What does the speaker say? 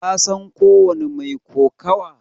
Ka san ko wani mai kokawa?